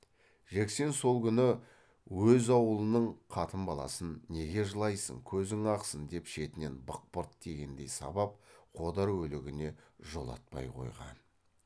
жексен сол күні өз аулының қатын баласын неге жылайсың көзің ақсын деп шетінен бықпырт тигендей сабап қодар өлігіне жолатпай қойған